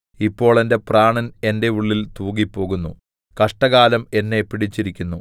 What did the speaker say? ഇപ്പോൾ എന്റെ പ്രാണൻ എന്റെ ഉള്ളിൽ തൂകിപ്പോകുന്നു കഷ്ടകാലം എന്നെ പിടിച്ചിരിക്കുന്നു